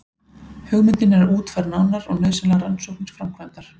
Hugmyndin er útfærð nánar og nauðsynlegar rannsóknir framkvæmdar.